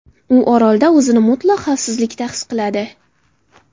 U orolda o‘zini mutlaq xavfsizlikda his qiladi.